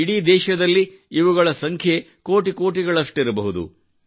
ಇಡೀ ದೇಶದಲ್ಲಿ ಇವುಗಳ ಸಂಖ್ಯೆಯಲ್ಲಿ ಕೋಟಿಗಳಷ್ಟಿರಬಹುದು